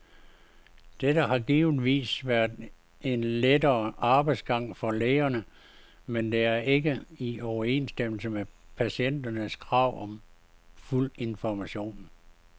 Dette har givetvis været en lettere arbejdsgang for lægerne, men det er ikke i overensstemmelse med patienternes krav om fuld information.